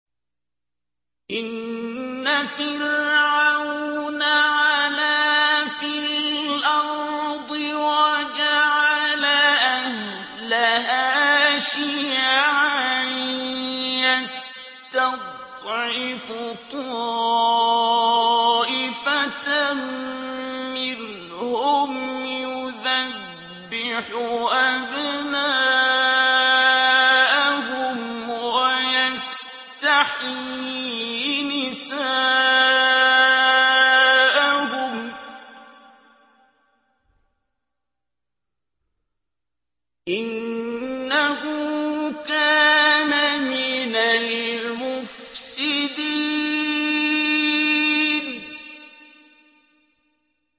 إِنَّ فِرْعَوْنَ عَلَا فِي الْأَرْضِ وَجَعَلَ أَهْلَهَا شِيَعًا يَسْتَضْعِفُ طَائِفَةً مِّنْهُمْ يُذَبِّحُ أَبْنَاءَهُمْ وَيَسْتَحْيِي نِسَاءَهُمْ ۚ إِنَّهُ كَانَ مِنَ الْمُفْسِدِينَ